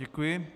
Děkuji.